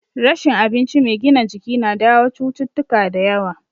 Rashin abinci mai gina jiki na jawo cututtuka da yawa